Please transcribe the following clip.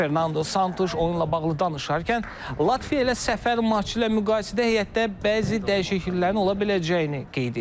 Fernando Santuş oyunla bağlı danışarkən, Latviya ilə səfər maçı ilə müqayisədə heyətdə bəzi dəyişikliklərin ola biləcəyini qeyd edib.